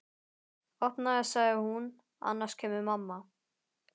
Opnaðu sagði hún, annars kemur mamma